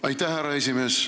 Aitäh, härra esimees!